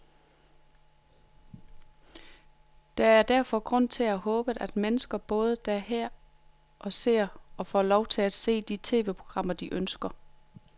Der er derfor grund til at håbe, at mennesker både der og her ser, og får lov til at se, de tv-programmer, de ønsker.